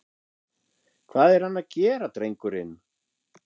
Hvað er hann að gera drengurinn?